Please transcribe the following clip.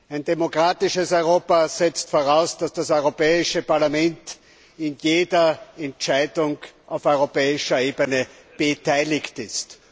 Ein demokratisches Europa setzt voraus, dass das Europäische Parlament bei jeder Entscheidung auf europäischer Ebene beteiligt ist.